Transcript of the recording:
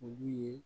Olu ye